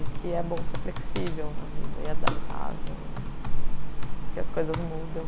E que é bom ser flexível na vida e adaptável e que as coisas mudam.